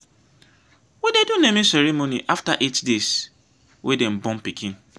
we dey do naming ceremony after eight deys wey dem born pikin.